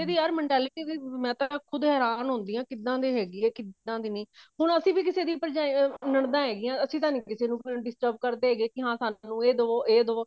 ਇਹਦੀ ਯਾਰ mentality ਵੀ ਮੈਂ ਤਾਂ ਖੁਦ ਹੇਰਾਨ ਹੁੰਦੀ ਹਾਂ ਕਿੱਦਾਂ ਦੀ ਹੈਗੀ ਆ ਕਿੱਦਾਂ ਦੀ ਨਹੀਂ ਹੁਣ ਅਸੀਂ ਵੀ ਕਿਸੇ ਦੀ ਭਰਜਾਈ ਨਣਦਾ ਹੈਗੀਆਂ ਅਸੀਂ ਤਾਂ ਕਿਸੇ ਨੂੰ disturb ਕਰਦੇ ਹੈਗੇ ਕੇ ਹਾਂ ਸਾਨੂੰ ਇਹ ਦਵੋ ਸਾਨੂੰ ਇਹ ਦਵੋ